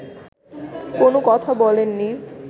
কোনো কথা বলেননি